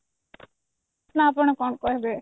ନା ଆପଣ କଣ କହିବେ